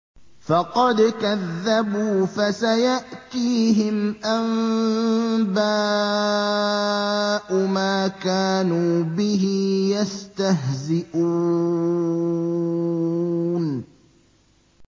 فَقَدْ كَذَّبُوا فَسَيَأْتِيهِمْ أَنبَاءُ مَا كَانُوا بِهِ يَسْتَهْزِئُونَ